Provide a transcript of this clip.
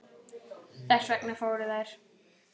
Þess vegna fóru þær.